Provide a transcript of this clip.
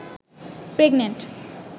pregnant